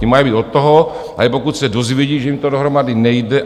Ty mají být od toho, aby, pokud se dozvědí, že jim to dohromady nejde.